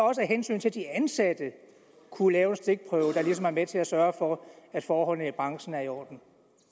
også af hensyn til de ansatte at kunne lave en stikprøve der ligesom er med til at sørge for at forholdene i branchen er i orden